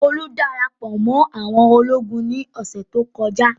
Olú dára pọ̀ mọ́ àwọn ológun ní ọ̀sẹ̀ tó kọjá.